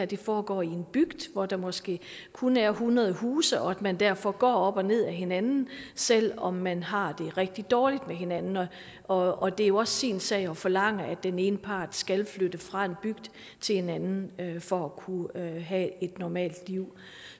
det foregår i en bygd hvor der måske kun er hundrede huse og at man derfor går op og ned ad hinanden selv om man har det rigtig dårligt med hinanden og og det er jo også sin sag at forlange at den ene part skal flytte fra en bygd til en anden for at kunne have et normalt liv